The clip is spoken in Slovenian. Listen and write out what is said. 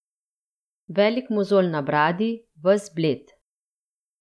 Velik mozolj na bradi, ves bled.